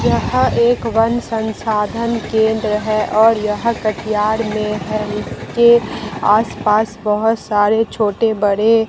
यहां एक वन संसाधन केंद्र है और यह कठियाड में है इसके आस पास बहोत सारे छोटे बड़े--